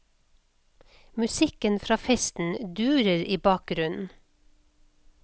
Musikken fra festen durer i bakgrunnen.